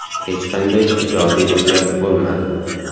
Hech qanday ijobiy o‘zgarish bo‘lmadi.